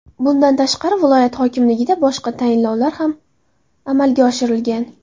Bundan tashqari, viloyat hokimligida boshqa tayinlovlar ham amalga oshirilgan.